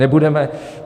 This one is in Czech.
Nebudeme.